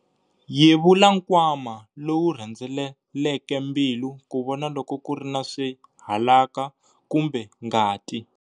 Yevula nkwama lowu rhendzeleleke mbilu ku vona loko ku ri na swihalaka kumbe ngati.